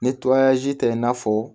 Ni tɛ i n'a fɔ